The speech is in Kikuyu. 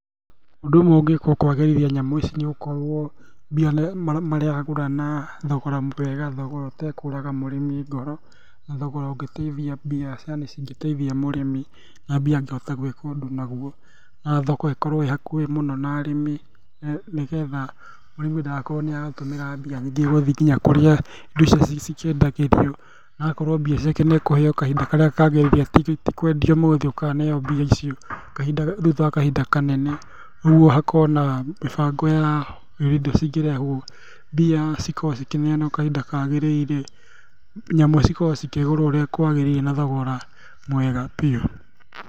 Ũndũ ũmwe ũngĩkwo kwagĩrithia nyamũ ici nĩ ũkorwo mbia maragũra na thogora mwega, thogora ĩtekũraga mũrĩmi ngoro na thogora ũngĩtaithia mbia cingĩtaithia mũrĩmi, na mbia angĩhota gwĩka ũndũ nacio, na thoko ĩkorwo ĩ hakuhĩ mũno na arĩmi nĩgetha mũrĩmi ndagakorwo nĩaratũmĩra mbia nyingĩ gũthiĩ nginya kũrĩa indo icio cikĩendagĩrio, agakorwo mbia ciake nĩekũheo kahinda karĩa kagĩrĩire tikwendia ũmũthĩ ũkaneo mbia icio thutha wa kahinda kanene nĩguo hakorwo na mĩbango ya ũrĩa indo cingĩrehwo, mbia cikorwo cikĩneanwo kahinda kagĩrĩire, nyamũ cikorwo cikĩgũrwo ũrĩa kwagĩrĩire na thogora mwega biũ.